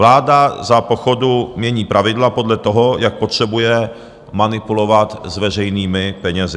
Vláda za pochodu mění pravidla podle toho, jak potřebuje manipulovat s veřejnými penězi.